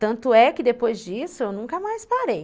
Tanto é que depois disso eu nunca mais parei.